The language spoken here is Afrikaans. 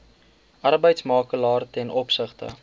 arbeidsmakelaar ten opsigte